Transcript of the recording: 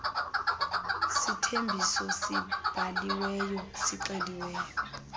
sithembiso sibhaliweyo sixeliweyo